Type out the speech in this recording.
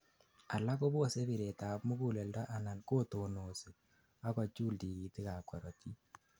alak kobose biret ab muguleldo anan kotonosi ak kochul tigitik ab korotik